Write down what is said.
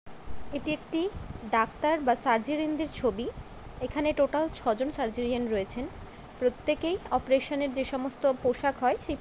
এটি একটি ডাক্তার বা সার্জেরীয়ানদের ছবি। এখানে টোটাল ছজন সার্জেরীয়ান রয়েছেন। প্রত্যেকেই অপেরেশনের যে সমস্ত পোশাক হয় সে--